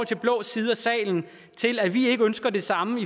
til blå side af salen i forhold til at vi ikke ønsker det samme